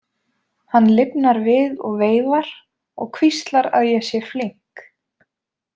Hann lifnar við og veifar og hvíslar að ég sé flink.